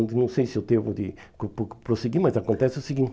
Não sei se eu devo de prosseguir, mas acontece o seguinte.